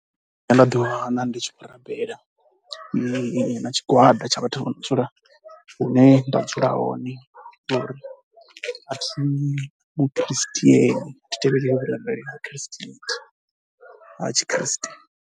A thi athu ḓiwana ndi tshi khou rabela na na tshigwada tsha vhathu vho no dzula hune nda dzula hone ngori a thi mu christian. Thi tevheli vhurabeli ha vhu christian, ha tshikriste.